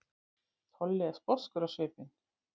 Tolli er sposkur á svipinn.